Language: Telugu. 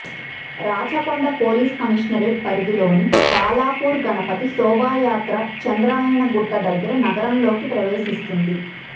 రాచకొండ పోలీస్ కమిషనరేట్ పరిధిలోని బాలాపూర్ గణపతి శోభాయాత్ర చాంద్రాయణగుట్ట దగ్గర నగరంలోకి ప్రవేశిస్తుంది